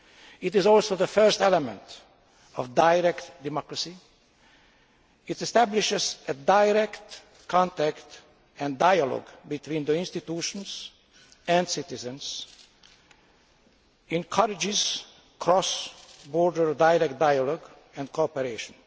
It is also the first element of direct democracy. It establishes direct contact and dialogue between the institutions and citizens and encourages cross border direct dialogue and cooperation.